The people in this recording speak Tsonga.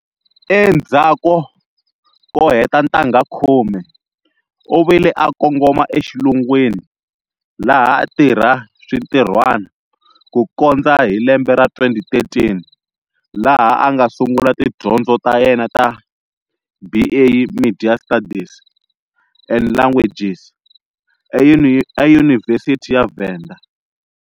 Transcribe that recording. Endzhaku ko heta ntangha khume, u vile a kongoma exilungwini laha a tirha swintirhwani ku kondza hi lembe ra 2013 laha a nga sungula tidyondzo ta yena ta BA media studies and languages eyunivhesiti ya Venda.